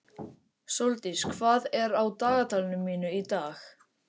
Sóldís, hvað er á dagatalinu mínu í dag?